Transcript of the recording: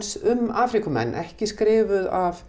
um Afríkumenn ekki skrifuð af